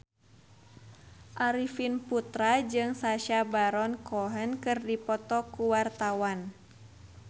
Arifin Putra jeung Sacha Baron Cohen keur dipoto ku wartawan